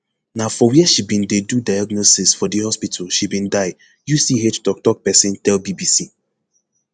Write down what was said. na for wia she bin dey do diagnosis for di hospital she bin die uch toktok pesin tell bbc